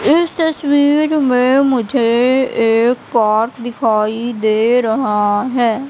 इस तस्वीर में मुझे एक पार्क दिखाई दे रहा हैं।